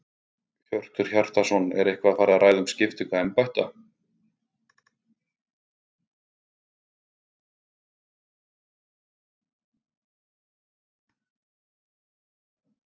Hjörtur Hjartarson: Er eitthvað farið að ræða um skiptingu embætta?